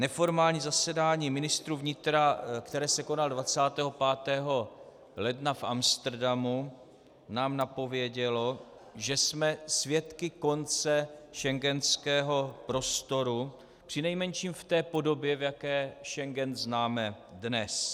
Neformální zasedání ministrů vnitra, které se konalo 25. ledna v Amsterodamu, nám napovědělo, že jsme svědky konce schengenského prostoru, přinejmenším v té podobě, v jaké Schengen známe dnes.